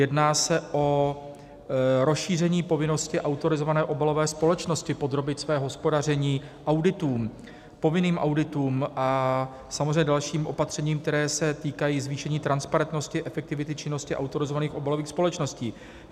Jedná se o rozšíření povinnosti autorizované obalové společnosti podrobit své hospodaření auditům, povinným auditům, a samozřejmě dalším opatřením, která se týkají zvýšení transparentnosti efektivity činnosti autorizovaných obalových společností.